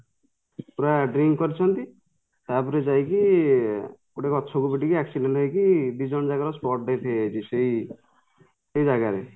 ପୁରା drink କରିଛନ୍ତି ତାପରେ ଯାଇକି ଗୋଟେ ଗଛକୁ ପିଟିକି accident ହେଇକି ଦିଜଣ ଯାକର spot death ହେଇଯାଇଛି ସେଇ ସେ ଜାଗାରେ